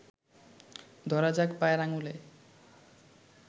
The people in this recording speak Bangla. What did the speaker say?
ধরা যাক পায়ের আঙুলে